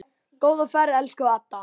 Góða ferð, elsku Edda.